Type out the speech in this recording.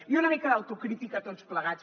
i una mica d’autocrítica tots plegats